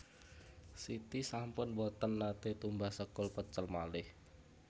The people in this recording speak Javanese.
Siti sampun mboten nate tumbas sekul pecel malih